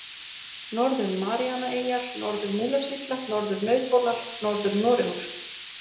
Norður-Maríanaeyjar, Norður-Múlasýsla, Norður-Nauthólar, Norður-Noregur